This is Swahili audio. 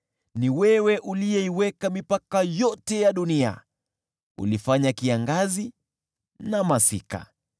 Ni wewe uliyeiweka mipaka yote ya dunia, ulifanya kiangazi na masika.